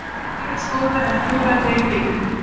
Veigar skoraði en klúðraði tveimur vítum